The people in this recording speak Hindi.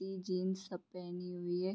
इ जीन्स सब पेहनी हुई है।